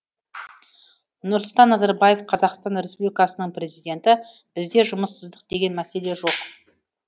нұрсұлтан назарбаев қазақстан республикасының президенті бізде жұмыссыздық деген мәселе жоқ